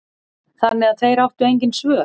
Þannig að þeir áttu engin svör.